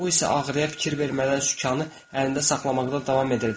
Bu isə ağrıya fikir vermədən sükanı əlində saxlamaqda davam edirdi.